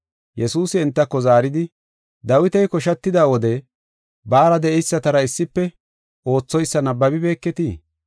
Yesuusi entako zaaridi, “Dawiti koshatida wode baara de7eysatara issife oothoysa nabbabibeketii?